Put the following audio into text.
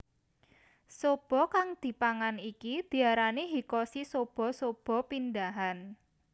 Soba kang dipangan iki diarani Hikkoshi soba soba pindahan